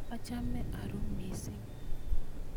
achome arue mising